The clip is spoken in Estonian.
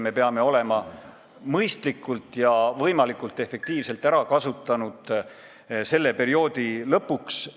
Me peame selle raha mõistlikult ja võimalikult efektiivselt selle perioodi lõpuks ära kasutama.